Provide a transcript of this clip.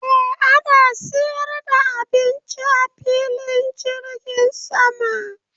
Eh ana siyar da abinci a filin jirgin sama.